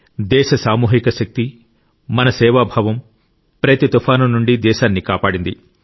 దేశ సామూహిక శక్తి మన సేవాభావం ప్రతి తుఫాను నుండి దేశాన్ని కాపాడింది